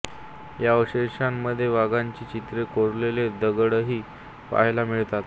या अवशेषांमधे वाघांची चित्रे कोरलेले दगडही पहायला मिळतात